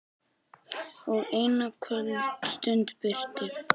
Og eina kvöldstund birti.